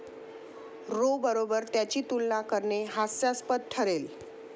row बरोबर त्याची तुलना करणे हास्यास्पद ठरेल